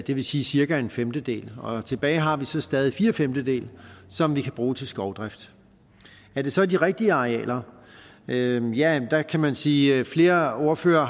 det vil sige cirka en femtedel og tilbage har vi så stadig fire femtedele som vi kan bruge til skovdrift er det så er de rigtige arealer ja ja der kan man sige at flere ordførere